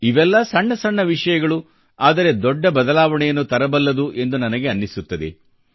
ಇವೆಲ್ಲಾ ಸಣ್ಣ ಸಣ್ಣ ವಿಷಯಗಳು ಆದರೆ ದೊಡ್ಡ ಬದಲಾವಣೆಯನ್ನು ತರಬಲ್ಲದು ಎಂದು ನನಗೆ ಅನ್ನಿಸುತ್ತದೆ